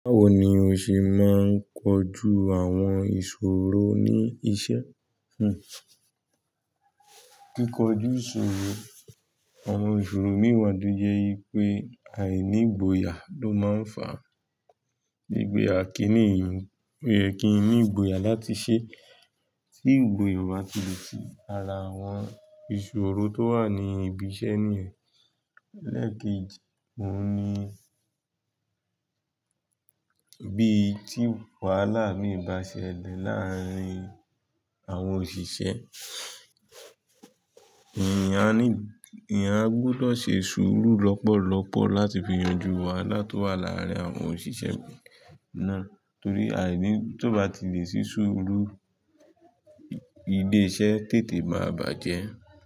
Báwo ni o ṣe máa ń kojú àwọn ìṣòro ní iṣẹ́? Hm. Kíkojú ìṣòro, àwọn ìṣòro mi wa to je wipé àìní ìgboyà ló máa ń fà á. Gbigbe kini, oye kin ní ìgboyà láti ṣe tí ìgboyà bá ti lè si ara àwọn ìṣòro tó wà ní ibi iṣẹ́ nìyẹn. Lẹ́keji, òun ni bí i tí wàhálà imi bá ṣẹlẹ̀ láàárín àwọn òṣìṣẹ́, èèyán aní, èèyàn gbọ́dọ̀ ṣe sùúrù lọ́pọ̀lọ́pọ̀ láti fi yanjú wàhálà tó wà láàárín àwọn òṣìṣẹ́ náà. Torí àìní tí ó bá ti lè ṣe sùúrù, ilé-iṣẹ́ tètè máa bàjẹ́.